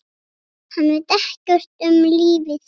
Hann veit ekkert um lífið.